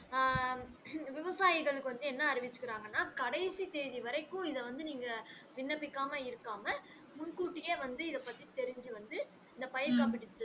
விவசாயிகளுக்கு வந்து என்ன அறிவிச்சுருக்கிறாங்கன்னா கடைசி தேதி வரைக்கும் இதை வந்து நீங்க விண்ணப்பிக்கமா இருக்காம முன்கூட்டியே வந்து இத பத்தி தெரிஞ்சி வந்து இந்த பயிர் காப்பீட்டு திட்டத்